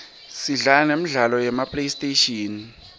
sidlala nemidlalo yema playstation